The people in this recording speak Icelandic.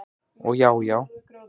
Og já já.